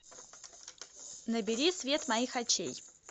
набери свет моих очей